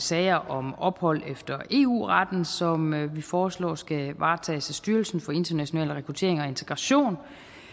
sager om ophold efter eu retten som vi foreslår skal varetages af styrelsen for international rekruttering og integration